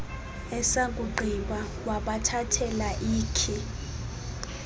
esakugqiba wabathathela ikhi